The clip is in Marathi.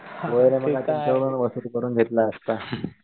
गोळेनी मग तुमच्याकडून वसूल करून घेतला असता.